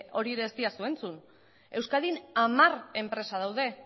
hori ere ez didazu entzun euskadin hamar enpresa daude